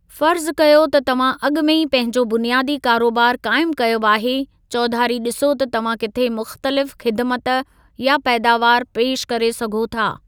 फ़र्ज़ कयो त तव्हां अॻु में ई पंहिंजो बुनियादी कारोबार क़ाइमु कयो आहे, चौधारी ॾिसो त तव्हां किथे मुख़्तलिफ़ ख़िदिमत या पैदावार पेशि करे सघो था।